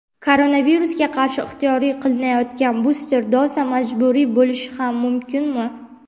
Koronavirusga qarshi ixtiyoriy qilinayotgan buster doza majburiy bo‘lishi ham mumkin(mi)?.